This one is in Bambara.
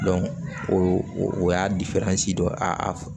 o y'a dɔ ye a